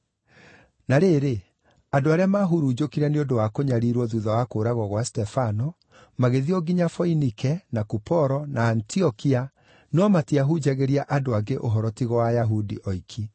Na rĩrĩ, andũ arĩa maahurunjũkire nĩ ũndũ wa kũnyariirwo thuutha wa kũũragwo gwa Stefano magĩthiĩ o nginya Foinike, na Kuporo, na Antiokia, no matiahunjagĩria andũ angĩ ũhoro tiga o Ayahudi oiki.